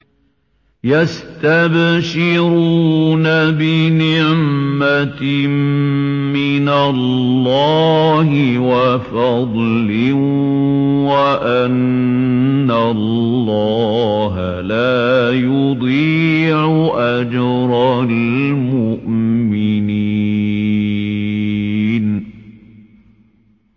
۞ يَسْتَبْشِرُونَ بِنِعْمَةٍ مِّنَ اللَّهِ وَفَضْلٍ وَأَنَّ اللَّهَ لَا يُضِيعُ أَجْرَ الْمُؤْمِنِينَ